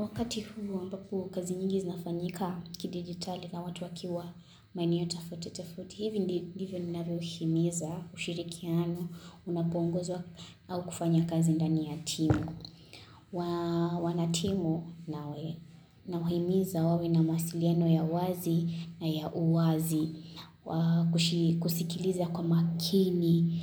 Wakati huu ambapo kazi nyingi zinafanyika kidigitali na watu wakiwa maeneo tafauti tafauti. Hivi ndivyo ninavyo himiza ushirikiano, unapoongozwa au kufanya kazi ndani ya timu. Wanatimu nawahimiza wawe na masiliano ya wazi na ya uwazi. Kusikiliza kwa makini,